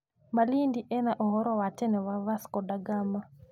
Malindi ĩna ũhoro wa tene wa Vasco da Gama.